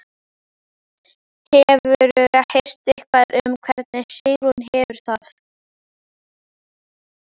Hefurðu heyrt eitthvað um hvernig Sigrún hefur það?